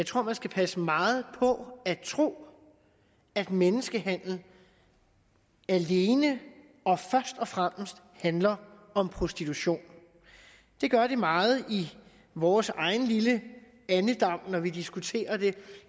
tror at man skal passe meget på at tro at menneskehandel alene og først og fremmest handler om prostitution det gør det meget i vores egen lille andedam når vi diskuterer det